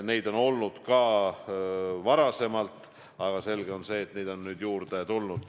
Neid on olnud ka varem, aga selge on see, et neid on nüüd juurde tulnud.